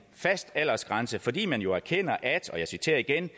fast aldersgrænse fordi man jo erkender at og jeg citerer igen